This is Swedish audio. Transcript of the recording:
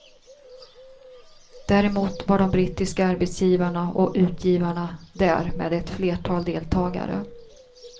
Däremot var de brittiska arbetsgivarna och utgivarna där med ett flertal deltagare.